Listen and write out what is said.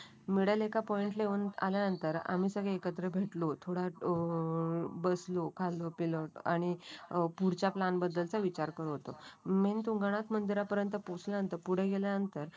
मिडालेखा point ला येऊन आल्यानंतर आम्ही सगळे एकत्र भेटलो होतो. थोडा अ बसलो खाल्लो पिल्लो आणि पुढच्या प्लॅन बद्दल च विचार करत होतो. मेन तुंगनात मंदिरापर्यंत पोहोचल्यानंतर पुढे गेल्यानंतर